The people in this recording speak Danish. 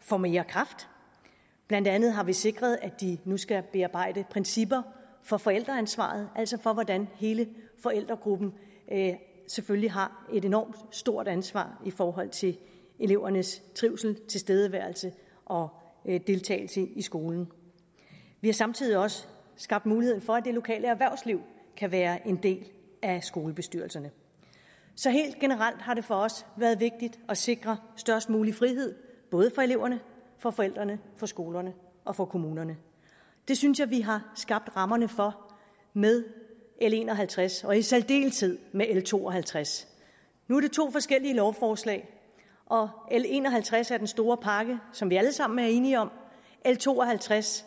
får mere kraft blandt andet har vi sikret at de nu skal bearbejde principper for forældreansvar altså for hvordan hele forældregruppen selvfølgelig har et enormt stort ansvar i forhold til elevernes trivsel tilstedeværelse og deltagelse i skolen vi har samtidig også skabt mulighed for at det lokale erhvervsliv kan være en del af skolebestyrelserne så helt generelt har det for os været vigtigt at sikre størst mulig frihed både for eleverne for forældrene for skolerne og for kommunerne det synes jeg vi har skabt rammerne for med l en og halvtreds og i særdeleshed med l to og halvtreds nu er det to forskellige lovforslag l en og halvtreds er den store pakke som vi alle sammen er enige om l to og halvtreds